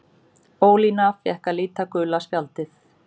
Ólína fékk að líta gula spjaldið.